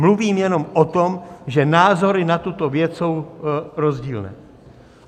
Mluvím jenom o tom, že názory na tuto věc jsou rozdílné.